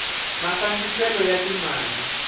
mafambiselo ya ti mali